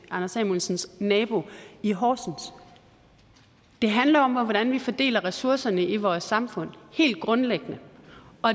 anders samuelsens nabo i horsens det handler om hvordan vi fordeler ressourcerne i vores samfund helt grundlæggende